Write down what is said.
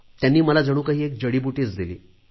त्यांनी मला जणू काही एक जडी बूटीच दिली